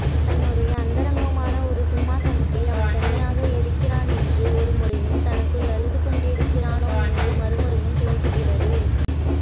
தன்னுடைய அந்தரங்கமான ஒரு சிம்மாசனத்தில் அவன் தனியாக இருக்கிறான் என்று ஒருமுறையும் தனக்குள் அழுதுகொண்டிருக்கிறானோ என்று மறுமுறையும் தோன்றுகிறது